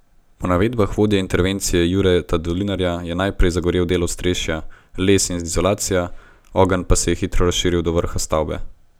Po navedbah vodje intervencije Jureta Dolinarja je najprej zagorel del ostrešja, les in izolacija, ogenj pa se je hitro razširil do vrha stavbe.